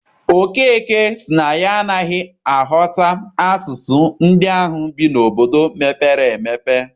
Okeke sị na ya anaghị aghọta asụsụ ndị ahụ bi n'obodo mepere emepe.